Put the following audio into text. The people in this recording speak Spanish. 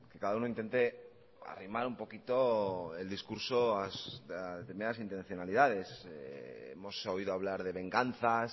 cada uno intente arrimar un poquito el discurso a determinadas intencionalidades hemos oído hablar de venganzas